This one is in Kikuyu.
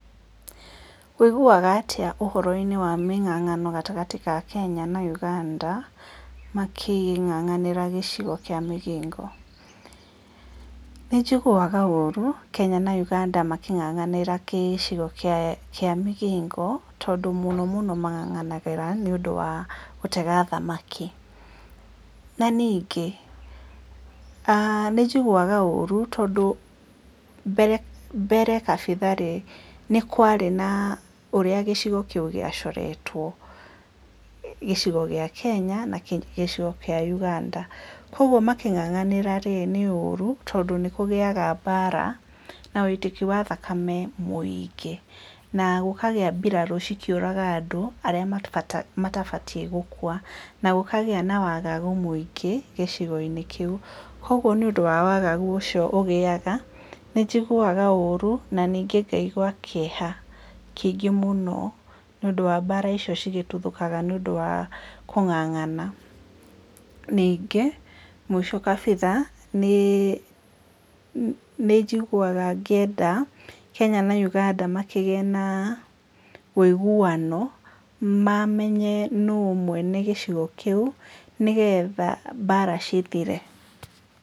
Ũiguaga atĩa ũhoro-inĩ wa mĩng'ang'ano gatagatĩ ka Kenya na Ũganda makĩng'ang'anĩra gĩcigo kĩa Migingo? Nĩ njiguaga ũru Kenya na Uganda makĩng'ang'anĩra gĩcigo kĩa Migingo tondũ mũno mũno mang'ang'anagĩra nĩ ũndũ wa gũtega thamaki, na ningĩ nĩ njiguaga ũru tondũ mbere kabitha rĩ nĩ kwarĩ na ũrĩa gĩcigo kĩu gĩa coretwo, gĩcigo gĩa Kenya na kĩa Uganda, kwoguo makĩng'ang'anĩra rĩ nĩ ũru tondũ nĩ kũgĩaga mbara na woitĩki wa thakame mũingĩ na gũkagĩa mbirarũ ikĩũraga andũ arĩa matibatie gũkua na gũkagĩa na wagagu mũingĩ thĩinĩ wa gĩcigo kĩu, kwoguo nĩ ũndũ wa wagagu ũcio ũgĩaga nĩ njiguaga ũru na ningĩ ngaigua kĩeha kĩingĩ mũno, nĩ ũndũ wa mbara icio cigĩtuthũkaga nĩ ũndũ wa kũng'ang'ana. Ningĩ mũico kabitha nĩ njiguaga ngĩenda Kenya na Uganda makĩgie na wũiguano mamenye no mwene gĩcigo kĩu nĩgetha mbara cithire.